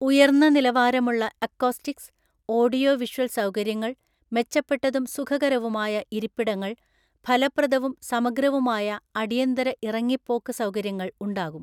ഉയർന്ന നിലവാരമുള്ള acoustics, audio visual സൗകര്യങ്ങൾ, മെച്ചപ്പെട്ടതും സുഖകരവുമായ ഇരിപ്പിടങ്ങൾ, ഫലപ്രദവും സമഗ്രവുമായ അടിയന്തര ഇറങ്ങിേപ്പോക്ക് സൗകര്യങ്ങൾ ഉണ്ടാകും.